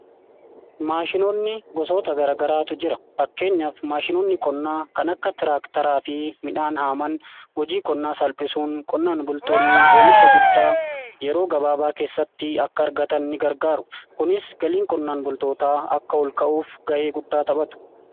maashinoonni gosoota gargaraatu jira fakkeenyaafi maashinonni qonnaa kan akka tiraaktaraa fi midhaan haaman hojii qonnaa salphisuun qonnaan bultoonni oomisha guddaa yeroo gabaabaa keessatti akka argatan ni gargaaru kunis galiin qonnaan bultootaa akka ol ka'uuf ga'ee guddaa taphatu.